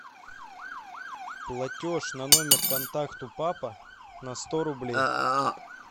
платеж на номер контакта папа на сто рублей